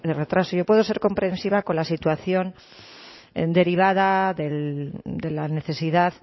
retraso yo puedo ser comprensiva con la situación derivada de la necesidad